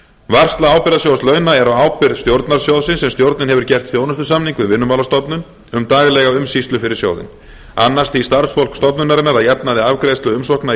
varsla ábyrgðasjóð launa er á ábyrgð stjórnar sjóðsins en stjórnin hefur gert þjónustusamning við vinnumálastofnun um daglega umsýslu fyrir sjóðinn annast því starfsfólk stofnunarinnar að jafnaði afgreiðslu umsókna í